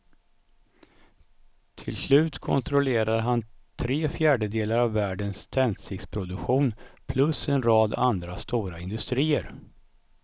Till slut kontrollerade han tre fjärdedelar av världens tändsticksproduktion plus en rad andra stora industrier.